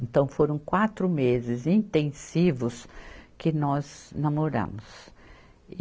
Então, foram quatro meses intensivos que nós namoramos.